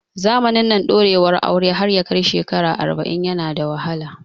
Zamanin nan, ɗorewar aure har yakai shekara arba'in yana da wahala